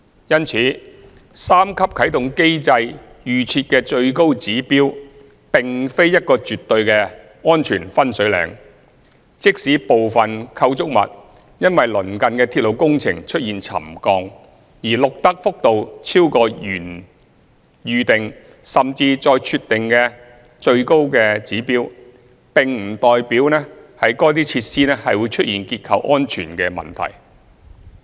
因此，三級啟動機制預設的最高指標，並非一個絕對的安全"分水嶺"，即使部分構築物因鄰近的鐵路工程出現沉降，而錄得幅度超過原預定，甚至再設定的最高指標，並不代表該設施會出現結構安全問題。